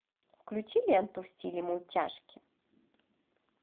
включи ленту в стиле мультяшки